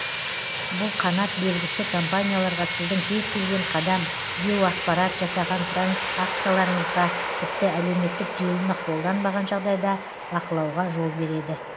бұл қанат белгісі компанияларға сіздің кез келген қадам геоақпарат жасаған транзакцияларыңызға тіпті әлеуметтік желіні қолданбаған жағдайда бақылауға жол береді